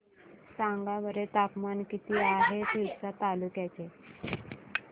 सांगा बरं तापमान किती आहे तिवसा तालुक्या चे